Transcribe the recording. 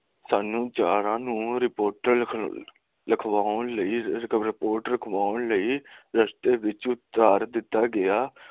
ਸਾਂਨੂੰ ਚਾਰਾਂ ਨੂੰ ਰਿਪੋਰਟ ਲਿਖਵਾਉਣ ਲਈ ਲਿਸ਼ਟ ਵਿਚ ਥਾਰ ਦਿੱਤਾਂ ਗਿਆ